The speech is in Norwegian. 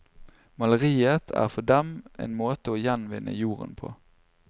Maleriet er for dem en måte å gjenvinne jorden på.